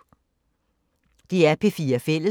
DR P4 Fælles